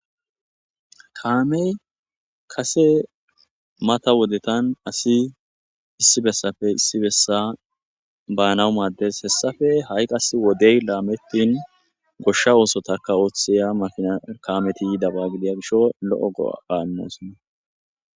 kaamey kase mata wodetan asi issi bessafe issi bessa baanawu maaddes hessafe ha7i qas wodey laamettin goshsha oosotakka ooththiya makina kaameti yidaba gidiya gisho lo7o go7aaannosonna